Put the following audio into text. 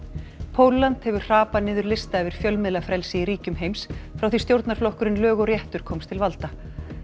Pólland hefur hrapað niður lista yfir fjölmiðlafrelsi í ríkjum heims frá því stjórnarflokkurinn lög og réttur komst til valda